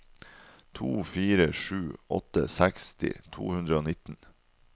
to fire sju åtte seksti to hundre og nitten